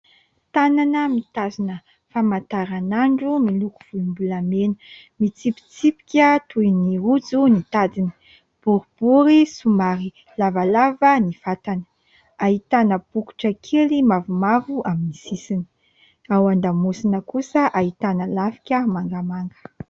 Tànana mitazona famantaran'andro miloko volombolamena, mitsipitsipika toy ny rojo ny tadiny, boribory somary lavalava ny vatany, ahitana bokotra kely mavomavo amin'ny sisiny, ao an-damosina kosa ahitana lafika mangamanga.